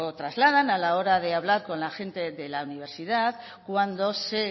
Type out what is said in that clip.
trasladan a la hora de hablar con la gente de la universidad cuando se